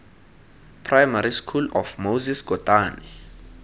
primary school of moses kotane